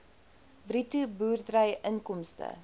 bruto boerderyinkomste